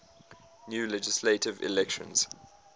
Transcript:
new legislative elections